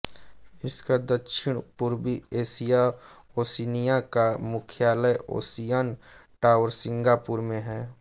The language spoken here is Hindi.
इसका दक्षिण पूर्वी एशिया ओशिनिया का मुख्यालय ओसियन टावर सिंगापुर में हैं